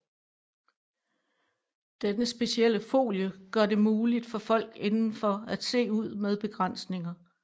Denne specielle folie gør det muligt for folk indenfor at se ud med begrænsninger